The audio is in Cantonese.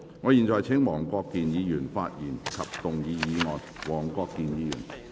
我現在請黃國健議員發言及動議議案。